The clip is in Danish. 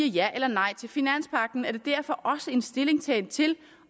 ja eller nej til finanspagten er det derfor også en stillingtagen til